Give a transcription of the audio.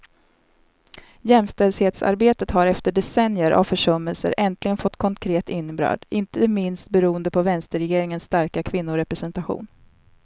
Jämställdhetsarbetet har efter decennier av försummelser äntligen fått konkret innebörd, inte minst beroende på vänsterregeringens starka kvinnorepresentation.